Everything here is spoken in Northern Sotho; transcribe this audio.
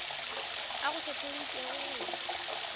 a go hlohleleditšego go ya